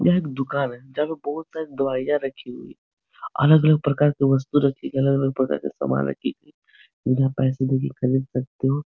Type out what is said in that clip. यह एक दुकान है। जहां पर बहुत सारी दवाइयाँ रखी हुई अलग - अलग प्रकार के वस्तु रखी अलग - अलग प्रकार के सामान रखे हुए जिन्हें आप पैसे देके खरीद सकते हो।